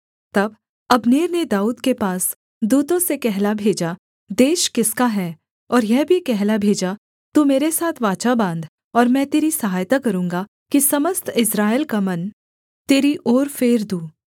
तब अब्नेर ने दाऊद के पास दूतों से कहला भेजा देश किसका है और यह भी कहला भेजा तू मेरे साथ वाचा बाँध और मैं तेरी सहायता करूँगा कि समस्त इस्राएल का मन तेरी ओर फेर दूँ